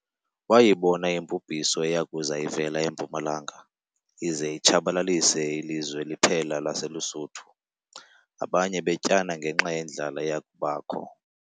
Wayibona imbubhiso eya kuza ivela empumalanga, ize itshabalalise ilizwe liphela laseLusuthu, abantu betyana ngenxa yendlala eyakubakho.